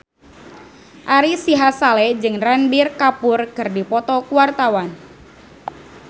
Ari Sihasale jeung Ranbir Kapoor keur dipoto ku wartawan